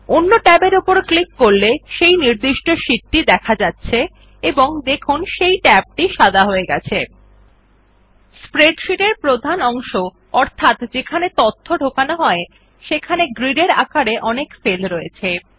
অন্য ট্যাবের উপর ক্লিক করলে সেই নির্দিষ্ট শীট দেখা যাচ্ছে এবং দেখুন সেই ট্যাব সাদা হয়ে গেছে স্প্রেডশীট এর প্রধান অংশ অর্থাৎ যেখানে ডাটা ঢোকানো হয় সেখানে গ্রিড এর আকারে অনেক সেল রয়েছে